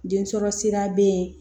Densɔrɔ sira bɛ yen